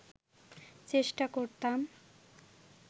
চেষ্টা করতাম